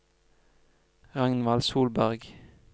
Ragnvald Solberg